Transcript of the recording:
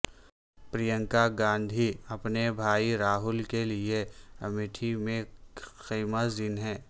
پرینکا گاندھی اپنے بھائی راہل کے لیے امیٹھی میں خیمہ زن ہیں